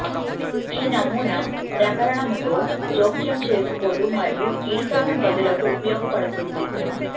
ఈ నమూనా ప్రకరణముతో జోక్యం చేసుకోదు మరియు ఇరుకైన గదులకు ఉపయోగపడుతుంది